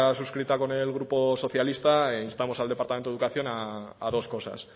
suscrita con el grupo socialista instamos al departamento de educación a dos cosas